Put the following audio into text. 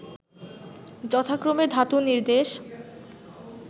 যথাক্রমে ধাতুনির্দেশ